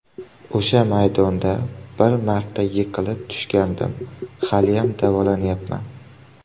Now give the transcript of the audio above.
O‘sha maydonda bir marta yiqilib tushgandim, haliyam davolanayapman.